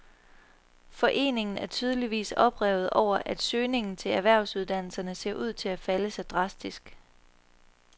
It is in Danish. Foreningen er tydeligvis oprevet over, at søgningen til erhvervsuddannelser ser ud til at falde så drastisk.